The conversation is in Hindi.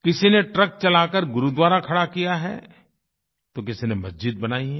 किसी ने ट्रक चलाकर गुरुद्वारा खड़ा किया है तो किसी ने मस्जिद बनाई है